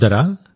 సోదరా